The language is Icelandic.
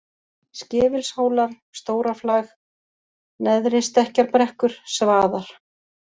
Skefilshólar, Stóraflag, Neðristekkjarbrekkur, Svaðar